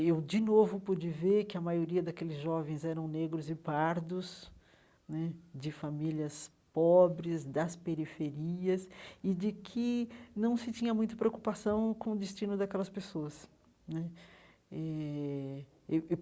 Eu, de novo, pude ver que a maioria daqueles jovens eram negros e pardos né, de famílias pobres, das periferias, e de que não se tinha muito preocupação com o destino daquelas pessoas né eh eu eu.